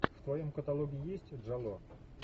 в твоем каталоге есть джало